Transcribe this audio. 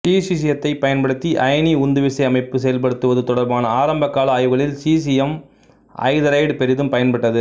சீசியத்தைப் பயன்படுத்தி அயனி உந்துவிசை அமைப்பு செயல்படுத்துவது தொடர்பான ஆரம்பகால ஆய்வுகளில் சீசியம் ஐதரைடு பெரிதும் பயன்பட்டது